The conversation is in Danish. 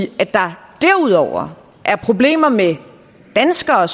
at der derudover er problemer med at danskere